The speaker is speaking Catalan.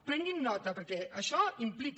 prenguin ne nota perquè això implica